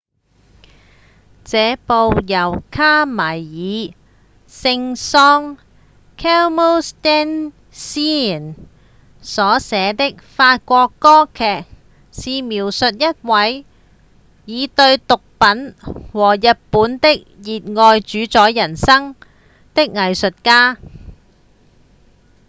這部由卡米爾．聖桑 camille saint-saens 所寫的法國歌劇是描述一位「以對毒品和日本的熱愛主宰人生」的藝術家